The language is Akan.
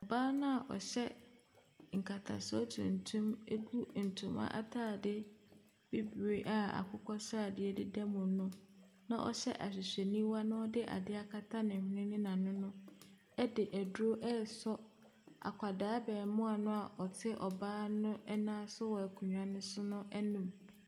Ɔbaa no a ɔhyɛ nkatasoɔ tuntum no ɛgu ntoma ataade bibire a akokɔsradeɛ deda mu no na ɔhyɛ ahwehwɛniwa na ɔde adeɛ akata ne hwene ne n'ano no ɛde aduro ɛresɔ akwadaa abaamua no a ɔte ɔbaa no ɛnan so wɔ akonnwa no so anum.